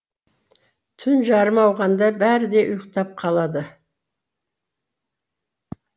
түн жарымы ауғанда бәрі де ұйықтап қалады